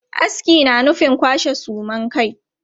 Aski na nufin kwashe suman kai.